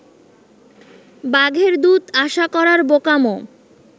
বাঘের দুধ আশা করার বোকামো